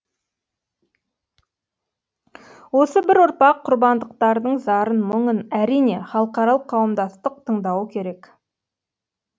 осы бір ұрпақ құрбандықтардың зарын мұңын әрине халықаралық қауымдастық тыңдауы керек